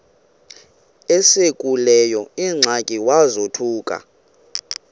esekuleyo ingxaki wazothuka